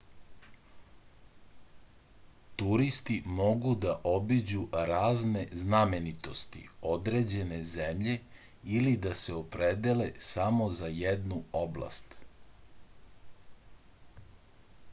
turisti mogu da obiđu razne znamenitosti određene zemlje ili da se opredele samo za jednu oblast